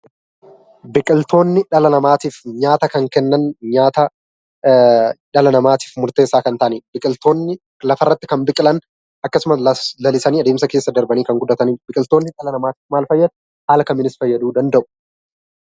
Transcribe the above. Biqiltoonni dhala namaatiif nyaata kan kennan nyaata dhala namaatiif murteessaa kan ta'anii dha. Biqiltoonni lafarratti kan biqilan akkasumas lalisanii adeemsa keessa darbanii kan guddatanii dha. Biqiltoonni dhala namaatiif maal fayyadu? Haala kamiinis fayyaduu danda'u?